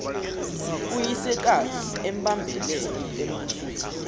uyisekazi embambele embusweni